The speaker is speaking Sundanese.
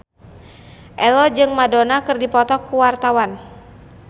Ello jeung Madonna keur dipoto ku wartawan